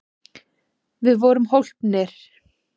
Við vorum hólpnir!